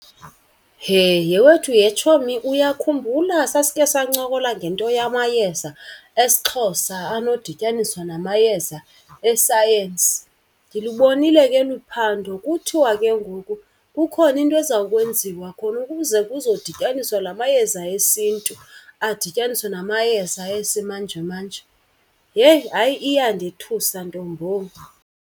Heh yhe wethu yhe tshomi, uyakhumbula sasikhe sancokola ngento yamayeza esiXhosa anodityaniswa namayeza esayensi? Ndilubonile ke olu phando, kuthiwa ke ngoku kukhona into eza kwenziwa khona ukuze kuzodityaniswa la mayeza esiNtu adityaniswe namayeza esimanjemanje. Heyi hayi iyandethusa, ntombo.